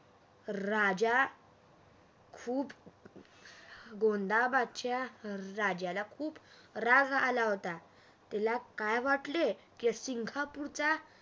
राजा खूप गोंधाबदचा राजाला राग आला होता त्याला काय वाटले की सिंगापूरचा